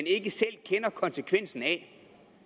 ikke selv kender konsekvensen af